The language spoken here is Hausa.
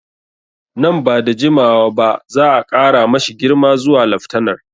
Nan ba da jimawa ba za'a ƙara ma shi girma zuwa laftanar